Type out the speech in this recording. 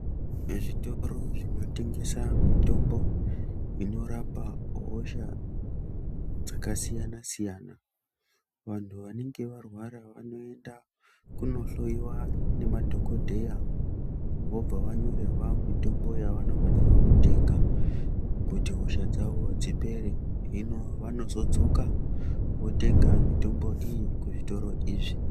Zvitoro zvinotengesa mitombo inorapa hosha dzakasiyanasiyana, vanhu vanenge varwara vanoenda kunohloyiwa nemadhokodheya vobva vanyorerwa mitombo yavanofanirwa kutenga kuti hosha dzavo dzipere , hino vanozodzoka votenga mitombo iyi kuzvitoro izvi.